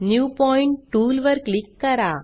new point tool वर click करा